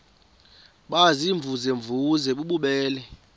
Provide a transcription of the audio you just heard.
baziimvuze mvuze bububele